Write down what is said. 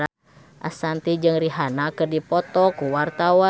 Ashanti jeung Rihanna keur dipoto ku wartawan